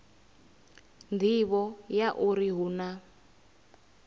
nḓivho ya uri hu na